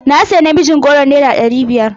Na siya namijin goron naira ɗari biyar.